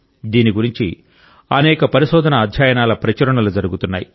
దీని గురించి అనేక పరిశోధన అధ్యయనాల ప్రచురణలు జరుగుతున్నాయి